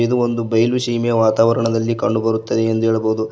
ಇದು ಒಂದು ಬಯಲು ಸೀಮೆಯ ವಾತಾವರಣದಲ್ಲಿ ಕಂಡು ಬರುತ್ತದೆ ಎಂದು ಹೇಳಬಹುದು.